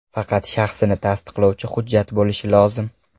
Faqat shaxsini tasdiqlovchi hujjat bo‘lishi lozim.